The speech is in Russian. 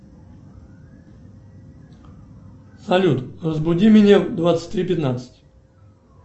салют разбуди меня в двадцать три пятнадцать